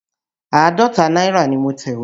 Àádọ́ta náírà ni mo tẹ̀wé.